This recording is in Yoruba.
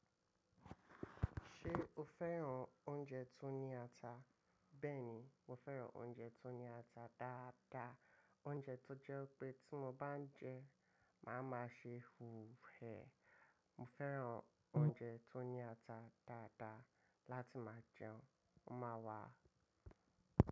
Ṣé o fẹ́ràn oúnjẹ tó ní ata? Bẹ́ẹ̀ni, mo fẹ́ràn oúnjẹ tó ní ata dáadáa. Oúnjẹ tó jẹ́ wipé tí mo bá n jẹ́, màá ma ṣe hùhè. Mo fẹ́ràn oúnjẹ tó ní ata dáadáa láti máa jẹun. Mo máa wá.